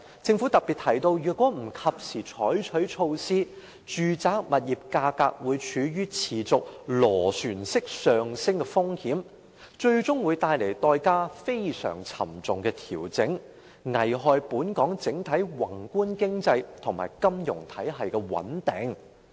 政府特別提到，若不及時採取措施，住宅物業價格會處於持續螺旋式上升的風險，最終會帶來代價非常沉重的調整，危害本港整體宏觀經濟及金融體系的穩定。